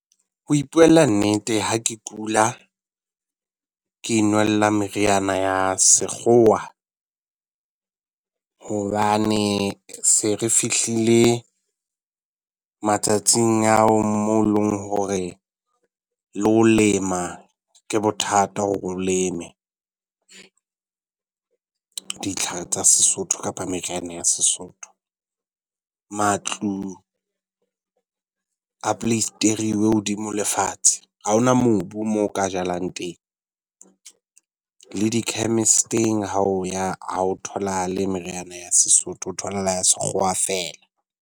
Ho ipuela nnete ha ke kula ke inwella meriana ya Sekgowa hobane se fe fihlile matsatsing ao mo leng hore le ho lema ke bothata hore o leme ditlhare tsa Sesotho kapa meriana ya Sesotho. Matlu a poleisterilwe hodimo le fatshe. Ha ho na mobu mo o ka jalang teng. Le di-chemist-eng ha o ya ha ho tholahale meriana ya sesotho. Ho tholahala ya Sekgowa feela.